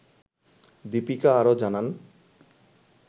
দিপিকা আরও জানান